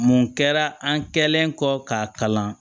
Mun kɛra an kɛlen kɔ k'a kalan